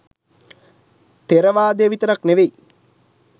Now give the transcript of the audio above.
ථෙරවාදය විතරක් නෙවෙයි